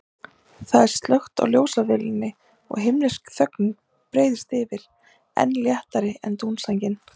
Það er slökkt á ljósavélinni og himnesk þögnin breiðist yfir, enn léttari en dúnsængin.